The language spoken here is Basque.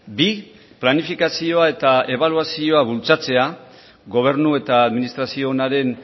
bi planifikazioa eta ebaluazioa bultzatzea gobernu eta administrazio onaren